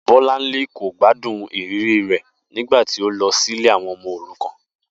Bó̩lárìnwá kò gbádùn ìrírí rè̩ nígbà tí ó lo sí ilé àwo̩n o̩mo̩ òrukàn